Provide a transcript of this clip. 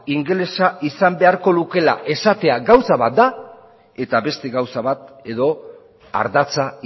ingelesa izan beharko lukeela esatea gauza bat da eta beste gauza bat edo ardatza